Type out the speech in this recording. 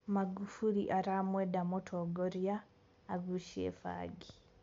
Magufuli aramwenda mũtongoria "agucie bangi".